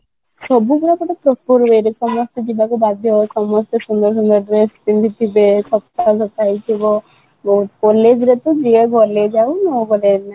ସବୁଥର କ ଗୋଟେ proper way ରେ ସମସ୍ତେ ଯିବାକୁ ବାଧ୍ୟ ସାମସ୍ତେ ସୁନ୍ଦର ସୁନ୍ଦର dress ପିନ୍ଧିଥିବେ ସଫା ସଫା ହେଇଥିବ college ରେ ତା ଯିଏ ଗଲେ ଯାଉ ନଗଲେ